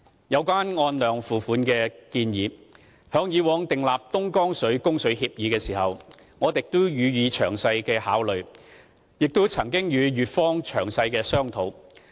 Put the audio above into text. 有關"按量付費"的建議，在以往訂立東江水供水協議時，我們亦予以仔細考慮，並曾與粵方詳細商討。